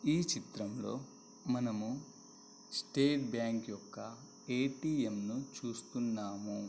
ఈ చిత్రంలో మనము స్టేట్ బ్యాంక్ యొక్క ఏ_టీ_ఎం ను చూస్తున్నాము.